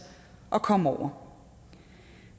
at komme over